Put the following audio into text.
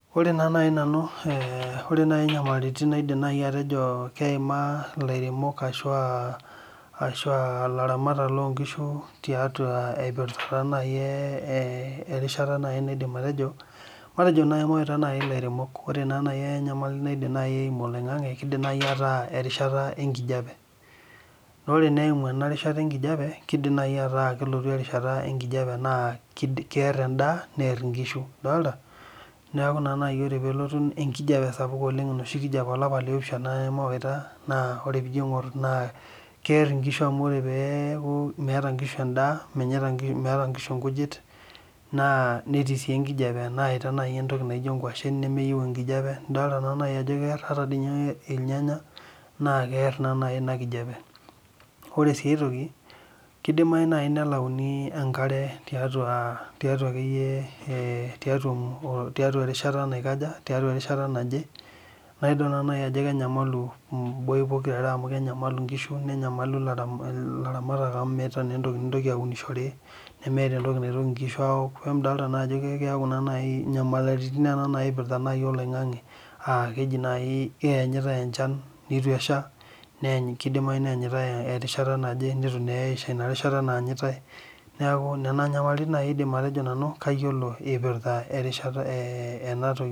Ore nai nanu ore nyamalitin naidim atejo keima I lairemok ashu ilaramatak lonkishu terishata niindim atejo kidim nai ataa erishata enkijape na ore eimu ena rishata enkijape na kear endaa near ngujit neaku ore nai pelotu enoshi kijape olapa le opishana na ore pijo aingor na kear nkishu amu lre teneaku menyaita nkishu endaa na netii enkijape netii nai ntokitin naijo ngwashen nemenyor enkijape nidol naa ajo kear ore sinye irnyanya na kear naa inakijape, ore ai aitoki kidimai nelauni enkare tiatua akeyie erishata naje naidol ajo kenyamalu pokira are amu idol naa ajo kenyamalu nkishu nenyamalu ilaramatak amu meeta entoki nintoki aunishore amidol ajo keaku naji inyanalitin nai nona naipirta oloingangi nituesha ina rishata naanyitae neaku nona nyamalitin nanu aidim atejo kayiolo ipirta enatoki.